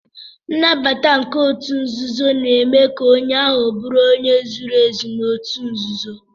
Nnabata nke otu nzuzo na eme ka onye ahu buru onye zuru ezu na otu nzuzo.